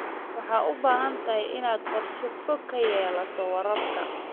Waxaad u baahan tahay inaad qorshe fog ka yeelato waraabka.